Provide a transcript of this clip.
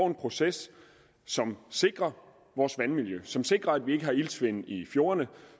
en proces som sikrer vores vandmiljø som sikrer at vi ikke har iltsvind i fjordene og